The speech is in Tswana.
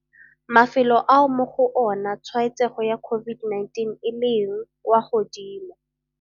Mafelo ao mo go ona tshwaetsego ya COVID-19 e leng kwa godimo